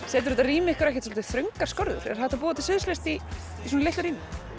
setur þetta rými ykkur ekkert svolítið þröngar skorður er hægt að búa til sviðslist í svona litlu rými